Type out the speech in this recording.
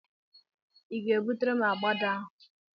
I ga-ebutere m agbada ahụ?